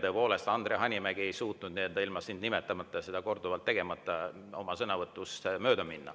Tõepoolest, Andre Hanimägi ei suutnud ilma sind nimetamata ja seda korduvalt tegemata sõna võtta.